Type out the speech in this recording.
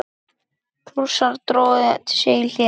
Prússar drógu sig í hlé.